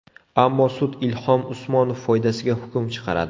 Ammo sud Ilhom Usmonov foydasiga hukm chiqaradi.